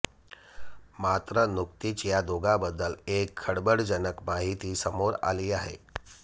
मात्र नुकतीच या दोघांबद्दल एक खळबळजनक माहिती समोर आली आहे